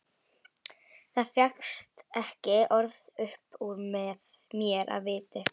Það fékkst ekki orð upp úr mér af viti.